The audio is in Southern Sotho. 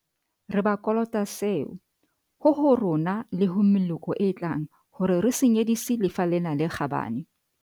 Re ba kolota seo, ho ho rona le ho meloko e tlang hore re se nyedisi lefa lena le kgabane.